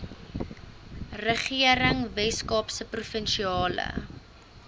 regering weskaapse provinsiale